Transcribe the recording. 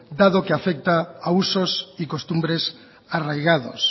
dado que afecta a usos y costumbres arraigados